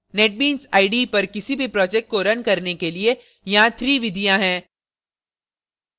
netbeans ide पर किसी भी project को रन करने के लिए यहाँ 3 विधियाँ हैं